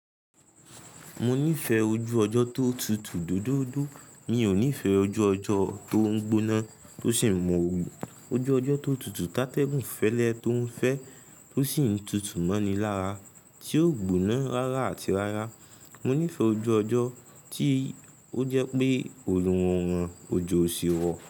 Mo nífẹ̀ẹ́ ojú ọjọ́ tó tutù doodoodoo. Mi ò nífẹ̀ẹ́ ojú ọjọ́ tó ń gbóná tó sì ń mọ́ ooru. Ojú ọjọ́ tó tutù tá tẹ́gùn fẹ́lẹ́ tó ń fẹ́ tó sì ń tutù mọ́ni lára tí ó gbóná rárá àti rárá. Mo nífẹ̀ẹ́ ojú ọjọ́ tí ó jẹ́ pé òrùn ra wọ́n, òjò sì wọ̀.